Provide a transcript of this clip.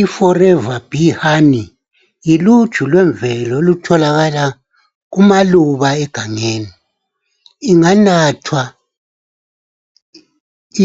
Iforever bee honey yiluju lwemvelo olutholakala kulaluba egangeni inganathwa